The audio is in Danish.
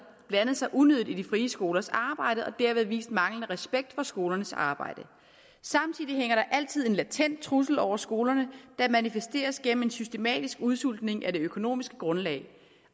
blandet sig unødigt i de frie skolers arbejde og derved vist manglende respekt for skolernes arbejde samtidig hænger der altid en latent trussel over skolerne der manifesteres gennem en systematisk udsultning af det økonomiske grundlag